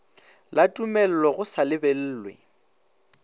la tumello go sa lebellwe